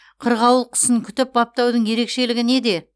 қырғауыл құсын күтіп баптаудың ерекшелігі неде